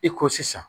I ko sisan